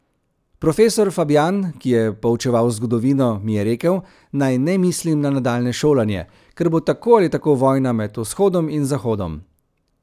Profesor Fabjan, ki je poučeval zgodovino, mi je rekel, naj ne mislim na nadaljnje šolanje, ker bo tako ali tako vojna med Vzhodom in Zahodom.